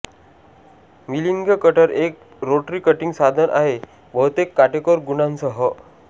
milling cutter एक rotary cutting साधन आहे बहुतेक काटेकोर गुणांसह